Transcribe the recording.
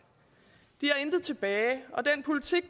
de har intet tilbage og den politik